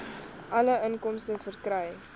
alle inkomste verkry